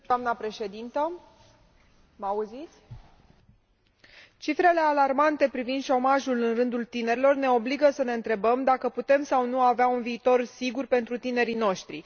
Doamnă președintă, cifrele alarmante privind șomajul în rândul tinerilor ne obligă să ne întrebăm dacă putem sau nu avea un viitor sigur pentru tinerii noștri.